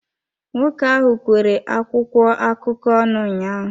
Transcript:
Nwoke ahụ kwere akwụkwọ akụkọ ọnụ ụnyaahụ.